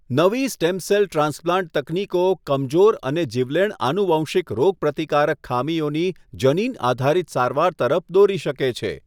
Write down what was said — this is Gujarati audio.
નવી સ્ટેમ સેલ ટ્રાન્સપ્લાન્ટ તકનીકો કમજોર અને જીવલેણ આનુવંશિક રોગપ્રતિકારક ખામીઓની જનીન આધારિત સારવાર તરફ દોરી શકે છે.